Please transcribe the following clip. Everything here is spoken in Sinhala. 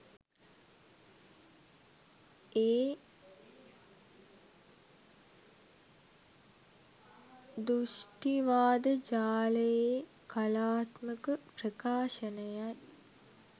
ඒ දෘෂ්ටිවාද ජාලයේ කලාත්මක ප්‍රකාශනයයි.